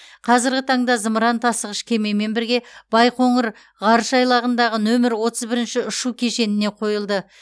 қазіргі таңда зымыран тасығыш кемемен бірге байқоңыр ғарыш айлағындағы нөмірі отыз бірінші ұшу кешеніне қойылды